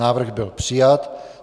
Návrh byl přijat.